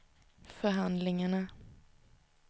förhandlingarna